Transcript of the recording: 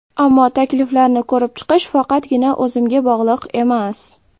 Ammo takliflarni ko‘rib chiqish faqatgina o‘zimga bog‘liq emas.